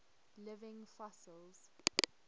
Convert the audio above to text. living fossils